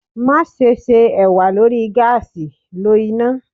Maṣe ṣe ewa lori gaasi lo ina